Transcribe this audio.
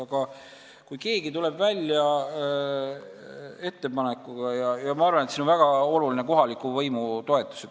Aga kui keegi tahab ettepanekuga välja tulla, siis ma arvan, et väga oluline on kohaliku võimu toetus.